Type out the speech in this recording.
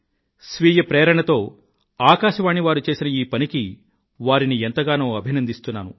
స్వీయ ప్రేరణతో ఆకాశవాణి వారు చేసిన ఈ పనికి వారిని ఎంతగానో అభినందిస్తున్నాను